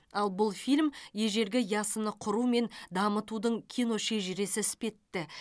ал бұл фильм ежелгі ясыны құру мен дамытудың киношежіресі іспетті